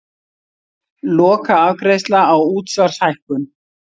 Lokaafgreiðsla á útsvarshækkun